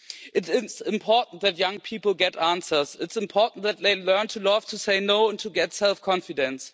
It is important that young people get answers. It is important that they learn to love, to say no, and to get self confidence.